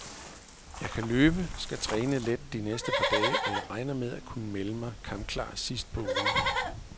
Jeg kan løbe, skal træne let de næste par dage, og jeg regner med at kunne melde mig kampklar sidst på ugen.